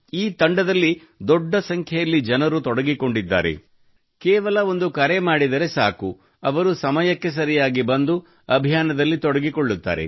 ಈ ತಂಡದಲ್ಲಿ ದೊಡ್ಡ ಸಂಖ್ಯೆಯಲ್ಲಿ ಜನರು ತೊಡಗಿಕೊಂಡಿದ್ದಾರೆ ಕೇವಲ ಒಂದು ಕರೆ ಮಾಡಿದರೆ ಸಾಕು ಅವರು ಸಮಯಕ್ಕೆ ಸರಿಯಾಗಿ ಬಂದು ಅಭಿಯಾನದಲ್ಲಿ ತೊಡಗಿಕೊಳ್ಳುತ್ತಾರೆ